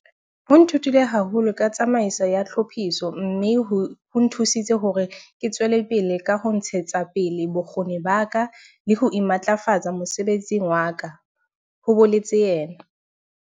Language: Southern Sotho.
"Ho nthutile haholo ka tsamaiso ya tlhophiso mme ho nthusitse hore ke tswele pele ka ho ntshetsa pele bokgoni ba ka le ho imatlafatsa mosebetsing wa ka," ho boletse yena.